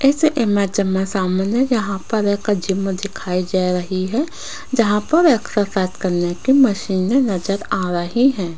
इस इमेज में सामने यहां पर एक जिम दिखाई दे रही है जहां पर एक सफेद कलर की मशीन नजर आ रही है।